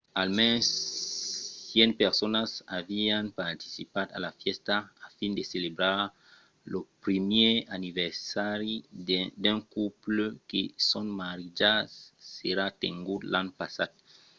almens 100 personas avián participat a la fèsta a fin de celebrar lo primièr aniversari d’un couple que son maridatge s'èra tengut l’an passat